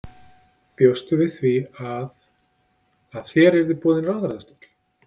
Bjóstu við því að, að þér yrði boðinn ráðherrastóll?